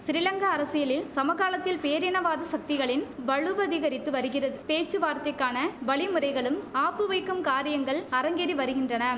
சிறிலங்கா அரசியலில் சமகாலத்தில் பேரினவாத சக்திகளின் வலுவதிகரித்து வருகிறது பேச்சுவார்த்தைக்கான வழிமுறைகளும் ஆப்பு வைக்கும் காரியங்கள் அரங்கேறி வருகின்றன